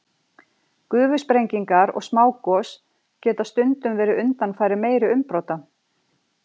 Gufusprengingar og smágos geta stundum verið undanfari meiri umbrota.